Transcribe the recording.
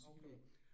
Okay